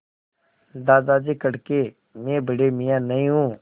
दादाजी कड़के मैं बड़े मियाँ नहीं हूँ